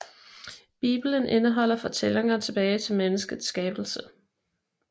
Bibelen indeholder fortællinger tilbage til menneskets skabelse